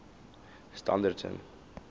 standerton